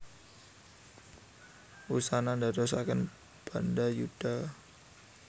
Wusana ndadosaken bandayuda